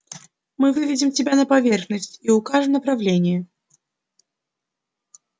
мы выведем тебя на поверхность и укажем направление